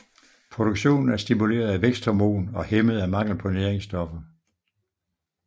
Produktionen er stimuleret af væksthormon og hæmmet af mangel på næringsstoffer